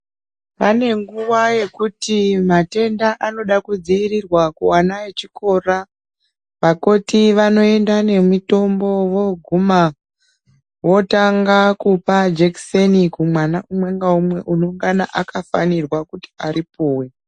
Pane nguva yekuti matenda anoda kudzivirirwa kuvana vechikora. Vakoti vanoenda nemitombo voguma votanga kupa jekiseni kumwana umwe neumwe unongana akafanirwa kuti aripuwe.